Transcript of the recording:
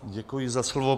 Děkuji za slovo.